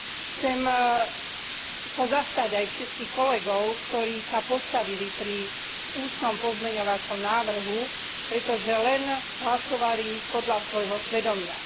Chcem sa zastať aj všetkých kolegov, ktorí sa postavili pri ústnom pozmeňujúcom a doplňujúcom návrhu, pretože len hlasovali podľa svojho svedomia.